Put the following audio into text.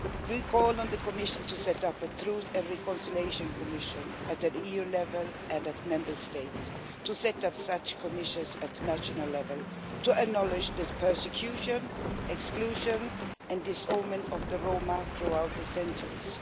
We call on the Commission to set up a truth and reconciliation commission at EU level and in Member States, to set up such commissions at national level, to acknowledge this persecution, exclusion and disownment of the Roma throughout the centuries.